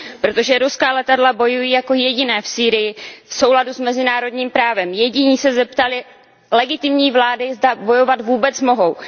Protože ruská letadla bojují jako jediná v Sýrii v souladu s mezinárodním právem, jediní se zeptali legitimní vlády, zda bojovat vůbec mohou.